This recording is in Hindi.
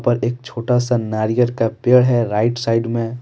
एक छोटा सा नारियल का पेड़ है राइट साइड में।